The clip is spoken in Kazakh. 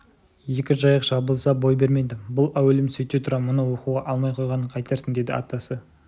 екі жайық жабылса бой бермейді бұл әуелім сөйте тұра мұны оқуға алмай қойғанын қайтерсің деді атасы